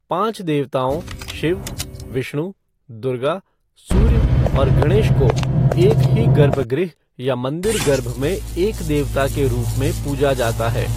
पांच देवताओं, शिव, विष्णु, दुर्गा, सूर्य और गणेश को एक ही गर्भगृह या मंदिर गर्भ में एक देवता के रूप में पूजा जाता है।